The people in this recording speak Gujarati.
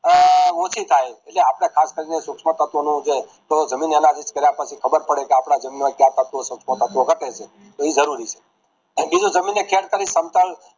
અઅઅ ઓછી થાય એટલે અપડે ખાસ કરીને સૂક્ષ્મ તત્વો નું જે જમીન વાળ માં ખબર પડે કે આપડા જમીન માં કયા તત્વો સૂક્ષ્મ તત્વો ઘટે છે એ જરૂરી છે અને બીજી જમીન ને check કરી સમતલ